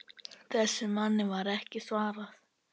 Þessum manni var ekki svarað.